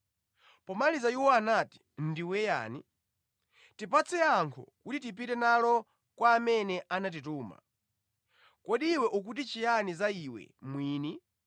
Pomaliza iwo anati, “Ndiwe yani? Tipatse yankho kuti tipite nalo kwa amene anatituma. Kodi iwe ukuti chiyani za iwe mwini?”